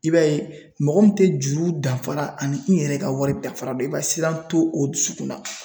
I b'a ye mɔgɔ min te juru danfara ani i yɛrɛ ka wari dafara dɔn i b'a ye siran to o dusukun na